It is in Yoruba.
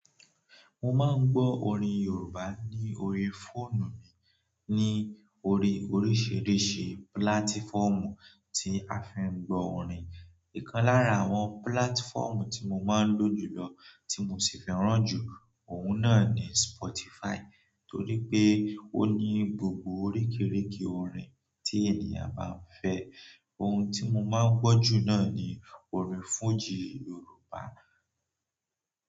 Mo máa ń gbọ́ orin Yorùbá ní orí fóònù mi ní orí oríṣìíríṣìí púlátífọ́ọ̀mù tí a fi ń gbọ́ orin. Ìkan lára àwọn púlátífọ́ọ̀mù tí mo máa ń lò jùlọ tí mo sì fẹ́ràn jù, òun náà ni Spotify torí pé ó ní gbògbò òríkìríkì òrin tí ènìyàn bá ń fẹ́. Ohun tí mo máa ń gbọ́ jù náà ni orin fújì Yorùbá.